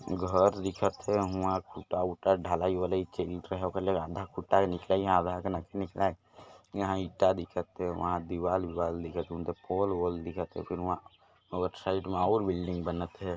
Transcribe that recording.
घर दिखत हे वहाँ टूटा-फूटा ढ़लाई यहाँ इंटा दिखत हे वहाँ दीवाल विवार दिखत पोल बोल दिखत फिर वहाँ आउटसाइड में और बिल्डिंग बनत हे।